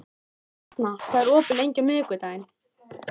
Etna, hvað er opið lengi á miðvikudaginn?